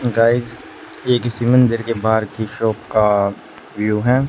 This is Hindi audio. गाइज एक स्मिंदर की शॉप का व्यू है।